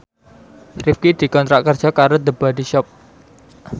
Rifqi dikontrak kerja karo The Body Shop